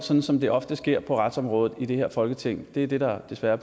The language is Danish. sådan som det ofte sker på retsområdet i det her folketing det er det der desværre